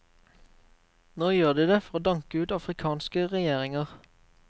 Nå gjør de det for å danke ut afrikanske regjeringer.